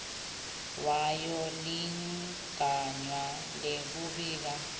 wayo ligunya lekubika